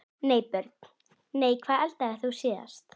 Nei Börn: Nei Hvað eldaðir þú síðast?